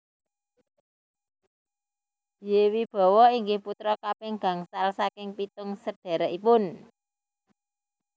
Y Wibowo inggih putra kaping gangsal saking pitung sedhèrèkipun